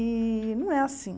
E não é assim.